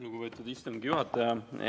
Lugupeetud istungi juhataja!